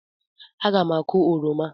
Aga m akụ oroma